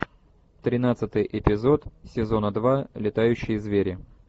тринадцатый эпизод сезона два летающие звери